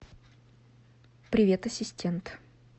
привет ассистент